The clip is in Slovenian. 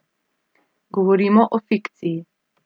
Govorimo o fikciji.